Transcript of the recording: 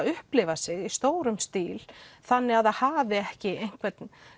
upplifir sig í stórum stíl þannig að það hafi ekki einhvern